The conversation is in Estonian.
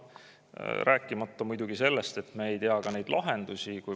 Rääkimata muidugi sellest, et me ei tea ka, mis on lahendused.